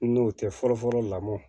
N'o tɛ fɔlɔ fɔlɔ lamɔ